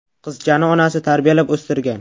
Qizchani onasi tarbiyalab o‘stirgan.